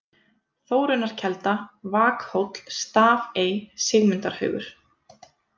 Þórunnarkelda, Vakhóll, Stafey, Sigmundarhaugur